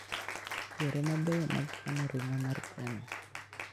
Yore mabeyo mag kano ring'o mar gweno.